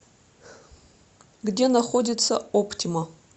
где находится оптима